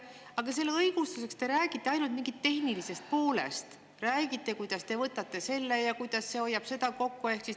Aga selle õigustuseks te räägite ainult mingist tehnilisest poolest, räägite, kuidas te võtate selle ja kuidas see hoiab kokku.